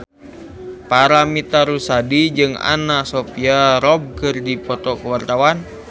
Paramitha Rusady jeung Anna Sophia Robb keur dipoto ku wartawan